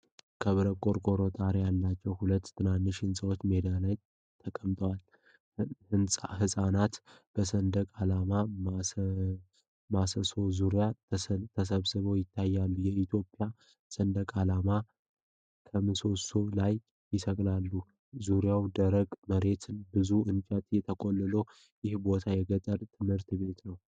ከብረት ቆርቆሮ ጣሪያ ያላቸው ሁለት ትናንሽ ህንፃዎች ሜዳ ላይ ተቀምጠዋል። ሕፃናት በሰንደቅ ዓላማ ምሰሶ ዙሪያ ተሰባስበው ይታያል፤ የኢትዮጵያ ሰንደቅ ዓላማ ከምሰሶው ላይ ይሰቀላል። ዙሪያው ደረቅ መሬትና ብዙ እንጨቶች ተቆልለዋል። ይህ ቦታ የገጠር ትምህርት ቤት ነው?